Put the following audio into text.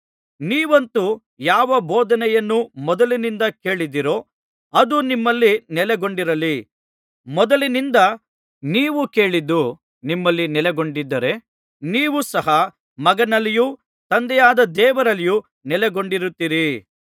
ನೀವಂತೂ ಯಾವ ಬೋಧನೆಯನ್ನು ಮೊದಲಿನಿಂದ ಕೇಳಿದ್ದೀರೋ ಅದು ನಿಮ್ಮಲ್ಲಿ ನೆಲೆಗೊಂಡಿರಲಿ ಮೊದಲಿನಿಂದ ನೀವು ಕೇಳಿದ್ದು ನಿಮ್ಮಲ್ಲಿ ನೆಲೆಗೊಂಡಿದ್ದರೆ ನೀವು ಸಹ ಮಗನಲ್ಲಿಯೂ ತಂದೆಯಾದ ದೇವರಲ್ಲಿಯೂ ನೆಲೆಗೊಂಡಿರುತ್ತೀರಿ